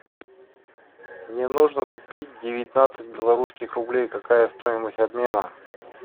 мне нужно купить девятнадцать белорусских рублей какая стоимость обмена